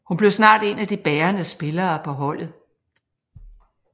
Hun blev snart en af de bærende spillere på holdet